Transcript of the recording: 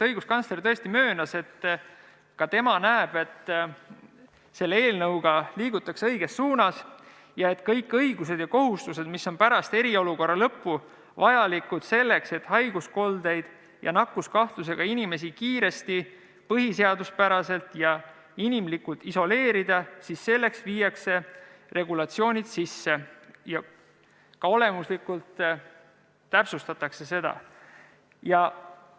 Õiguskantsler tõesti möönis, et ka tema näeb, et selle eelnõuga liigutakse õiges suunas ja et kõigi õiguste ja kohustuste jaoks, mis on pärast eriolukorra lõppu vajalikud, selleks et haiguskoldeid ja nakkuskahtlusega inimesi kiiresti, põhiseaduspäraselt ja inimlikult isoleerida, viiakse sisse regulatsioonid ja täpsustatakse seda ka olemuslikult.